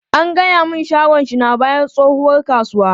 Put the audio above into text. An gaya mun shagon shi na bayan tsohuwar kasuwa.